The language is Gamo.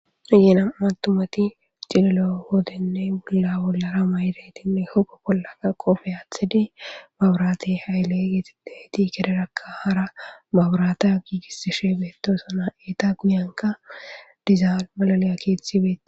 Ayeena matumati cililo woodenne bulla bollara mayretinne hogo pollaka qofe aathidi baburaate hayle yexideti kederakka hara baburaate giigisishe beettosana eeta guyanka dizaal malaliya kethi be.